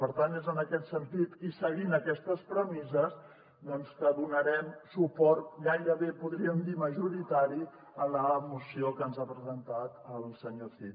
per tant és en aquest sentit i seguint aquestes premisses doncs que donarem suport gairebé en podríem dir majoritari a la moció que ens ha presentat el senyor cid